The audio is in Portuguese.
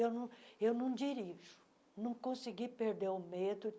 Eu não eu não dirijo, não consegui perder o medo.